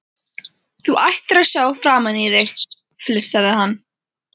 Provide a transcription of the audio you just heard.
Þú ættir að sjá framan í þig! flissaði hann.